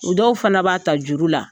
O dɔw fana b'a ta juru la